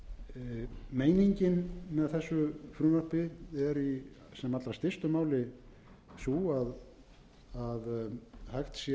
bæjum meiningin með þessu frumvarpi er í sem allra stystu máli sú að hægt sé að